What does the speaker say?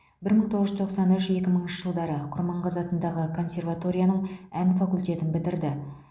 бір мың тоғыз жүз тоқсан үш екі мыңыншы жылдары құрманғазы атындағы консерваторияның ән факультетін бітірді